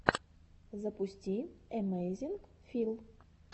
запусти эмэйзинг фил